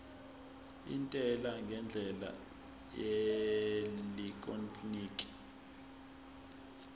intela ngendlela yeelektroniki